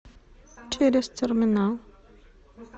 через терминал